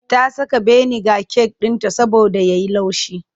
Ta saka biniga cake ɗinta saboda ya yi laushi.